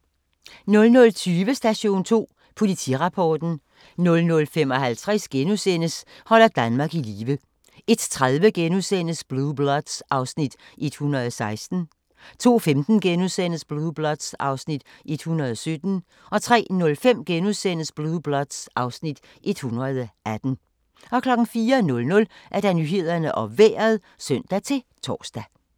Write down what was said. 00:20: Station 2: Politirapporten 00:55: Holder Danmark i live * 01:30: Blue Bloods (Afs. 116)* 02:15: Blue Bloods (Afs. 117)* 03:05: Blue Bloods (Afs. 118)* 04:00: Nyhederne og Vejret (søn-tor)